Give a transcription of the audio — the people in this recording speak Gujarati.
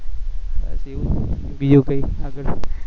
બીજું કઈ આગળ